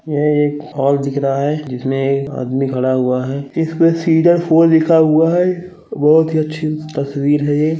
यह एक हॉल दिख रहा है जिसमें एक आदमी खड़ा हुआ है इस पे फॉर लिखा हुआ है बहोत ही अच्छी तस्वीर है ये।